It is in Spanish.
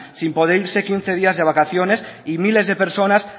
sin poder irse quince días de vacaciones y miles de personas